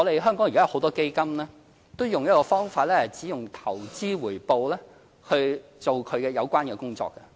香港現在有很多基金都用一個方法，是只用投資回報來進行它的有關工作。